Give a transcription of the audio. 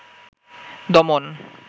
দমন